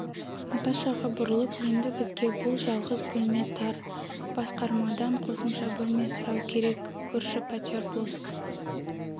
наташаға бұрылып енді бізге бұл жалғыз бөлме тар басқармадан қосымша бөлме сұрау керек көрші пәтер бос